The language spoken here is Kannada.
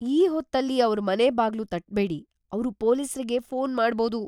ಈ ಹೊತ್ತಲ್ಲಿ ಅವ್ರ್ ಮನೆ ಬಾಗ್ಲು ತಟ್ಬೇಡಿ. ಅವ್ರು ಪೊಲೀಸ್ರಿಗೆ ಫೋನ್ ಮಾಡ್ಬೋದು.